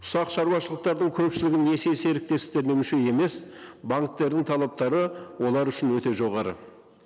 ұсақ шаруашылықтардың көпшілігі несие серіктестіктеріне мүше емес банктердің талаптары олар үшін өте жоғары